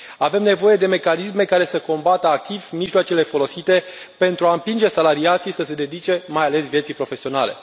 Avem nevoie de mecanisme care să combată activ mijloacele folosite pentru a împinge salariații să se dedice mai ales vieții profesionale.